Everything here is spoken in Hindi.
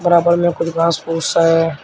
बराबर में कुछ घास फूस हैं।